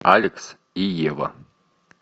алекс и ева